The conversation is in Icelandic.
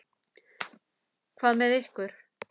Hvað með ykkur?